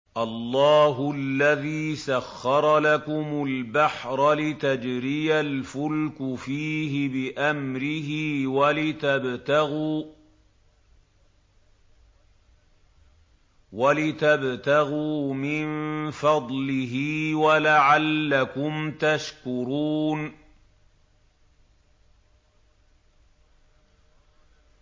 ۞ اللَّهُ الَّذِي سَخَّرَ لَكُمُ الْبَحْرَ لِتَجْرِيَ الْفُلْكُ فِيهِ بِأَمْرِهِ وَلِتَبْتَغُوا مِن فَضْلِهِ وَلَعَلَّكُمْ تَشْكُرُونَ